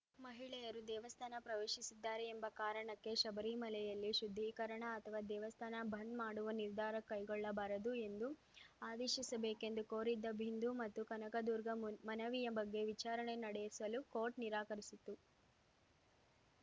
ಮಹಿಳೆಯರು ದೇವಸ್ಥಾನ ಪ್ರವೇಶಿಸಿದ್ದಾರೆ ಎಂಬ ಕಾರಣಕ್ಕೆ ಶಬರಿಮಲೆಯಲ್ಲಿ ಶುದ್ಧೀಕರಣ ಅಥವಾ ದೇವಸ್ಥಾನ ಬಂದ್‌ ಮಾಡುವ ನಿರ್ಧಾರ ಕೈಗೊಳ್ಳಬಾರದು ಎಂದು ಆದೇಶಿಸಬೇಕೆಂದು ಕೋರಿದ್ದ ಬಿಂದು ಮತ್ತು ಕನಕದುರ್ಗ ಮುಮನವಿಯ ಬಗ್ಗೆ ವಿಚಾರಣೆ ನಡೆಸಲು ಕೋರ್ಟ್‌ ನಿರಾಕರಿಸಿತು